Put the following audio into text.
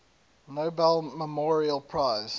nobel memorial prize